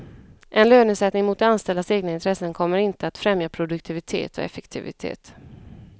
En lönesättning mot de anställdas egna intressen kommer inte att främja produktivitet och effektivitet.